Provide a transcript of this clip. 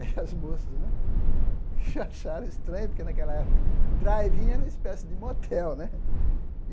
as moças né que acharam estranho, porque naquela época drive-in era uma espécie de motel né.